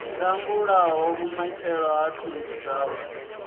langulaho vhumatshelo ha thundu dzawe